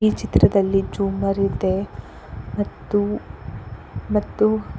ಈ ಚಿತ್ರದಲ್ಲಿ ಜೂಮರಿದೆ ಮತ್ತು ಮತ್ತು--